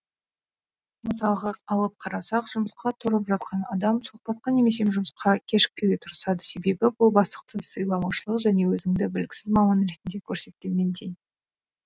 мысалға алып қарасақ жұмысқа тұрып жатқан адам сұхбатқа немесе жұмысқа кешікпеуге тырысады себебі бұл бастықты сыйламаушылық және өзіңді біліксіз маман ретінде көрсеткенмен тең